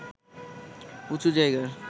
উঁচু জায়গার